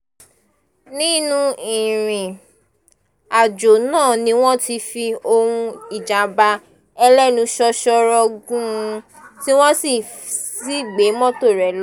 nínú ìrìn-àjò náà ni wọ́n ti fi ohùn ìjàm̀bá ẹlẹ́nu ṣóṣóró gùn ún tí wọ́n sì gbé mọ́tò rẹ̀ lọ